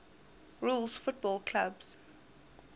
rules football clubs